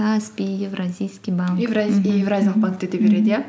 каспи евразийский банк евразиялық банкте да береді иә